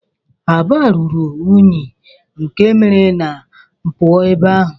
Aba ruru unyi nke mere ma puo ebe ahu.